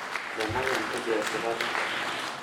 lemayiana tejo esipata